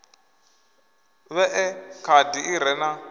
vhee khadi i re na